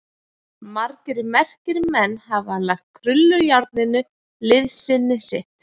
Margir merkir menn hafa lagt krullujárninu liðsinni sitt.